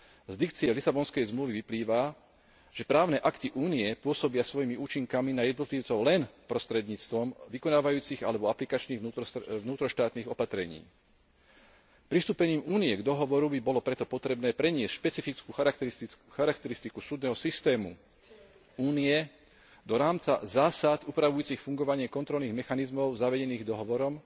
Z dikcie Lisabonskej zmluvy vyplýva, že právne akty Únie pôsobia svojimi účinkami na jednotlivcov len prostredníctvom vykonávajúcich alebo aplikačných vnútroštátnych opatrení. Pristúpením Únie k dohovoru by bolo preto potrebné preniesť špecifickú charakteristiku súdneho systému Únie do rámca zásad upravujúcich fungovanie kontrolných mechanizmov zavedených dohovorom,